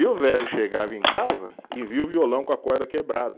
E o velho chegava em casa e via o violão com a corda quebrada.